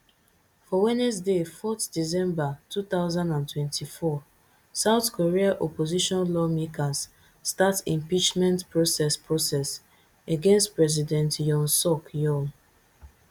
for wednesday fourth december two thousand and twenty-four south korea opposition lawmakers start impeachment process process against president yoon suk yeol